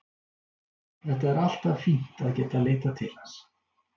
Það er alltaf fínt að geta leitað til hans.